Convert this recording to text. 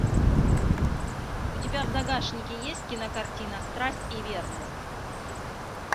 у тебя в загашнике есть кинокартина страсть и верность